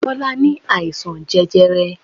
Bọlá ní àìsàn jẹjẹrẹ.